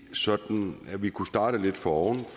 sådan at vi kunne starte lidt foroven og